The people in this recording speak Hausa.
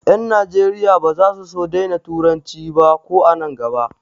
Ƴan Najeriya ba za su daina turanci ba ko an nan gaba.